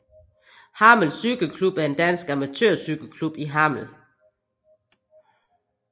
Hammel Cykle Klub er en dansk amatørcykelklub i Hammel